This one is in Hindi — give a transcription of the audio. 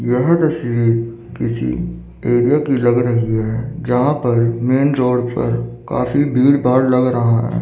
यह तस्वीर किसी एरिया की लग रही है जहां पर मेंन रोड पर काफी भीड़ बाढ लग रहा है।